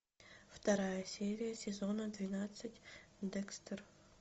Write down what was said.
вторая серия сезона двенадцать декстер